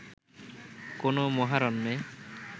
কোনো মহারণ্যে